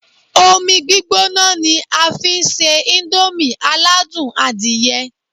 Omi gbígbóná ni a fi ń se íńdómì aládùn adìyẹ